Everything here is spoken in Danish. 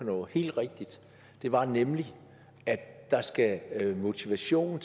noget helt rigtigt det var nemlig at der skal motivation